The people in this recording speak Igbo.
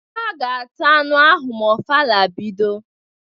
Ha ga-ata anụ ahụ ma ofala bido.